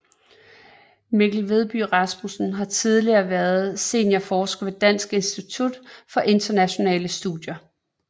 Mikkel Vedby Rasmussen har tidligere været seniorforsker ved Dansk Institut for Internationale Studier